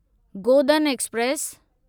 Godan express